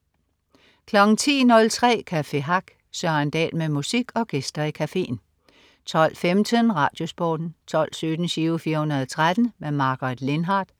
10.03 Café Hack. Søren Dahl med musik og gæster i cafeen 12.15 RadioSporten 12.17 Giro 413. Margaret Lindhardt